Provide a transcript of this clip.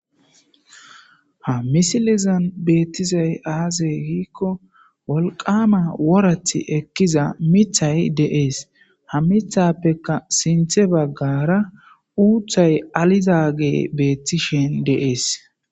Ha misilezan beetizay aaze giiko wolqama worati ekiza miththay dees. Ha miththappe sinthe baggara uuthay alizaysi dees.